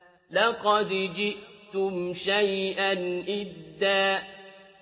لَّقَدْ جِئْتُمْ شَيْئًا إِدًّا